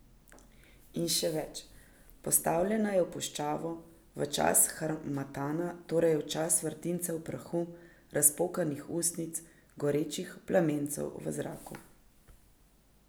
In še več, postavljena je v puščavo, v čas harmatana, torej v čas vrtincev prahu, razpokanih ustnic, gorečih plamencev v zraku.